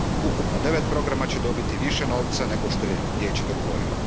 Ukupno devet programa će dobiti više novca nego što je Vijeće dogovorilo.